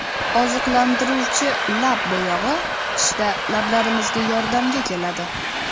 Oziqlantiruvchi lab bo‘yog‘i qishda lablarimizga yordamga keladi.